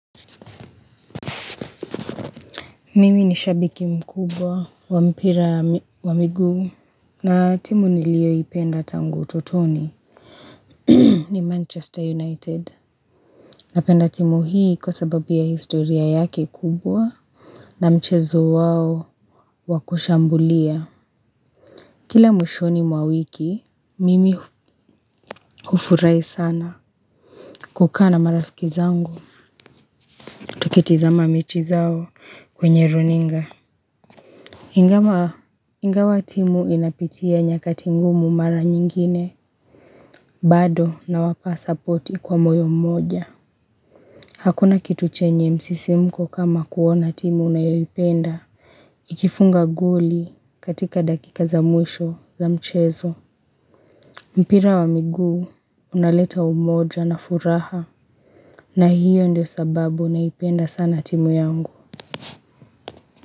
Mimi ni shabiki mkubwa wampira wa miguu na timu nilio ipenda tangu utotoni ni manchester united Napenda timu hii kwa sababu ya historia yake kubwa na mchezo wao wakushambulia Kila mwishoni mwawiki mimi hufurahi sana kukaa na marafiki zangu tukitazama mechi zao kwenye runinga ingawa timu inapitia nyakati ngumu mara nyingine bado nawapa support kwa moyo mmoja hakuna kitu chenye msisimko kama kuona timu unayoipenda ikifunga goli katika dakika za mwisho mpira wa miguu unaleta umoja na furaha na hiyo ndio sababu naipenda sana timu yangu.